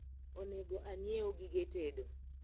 onego anyiew gige tedo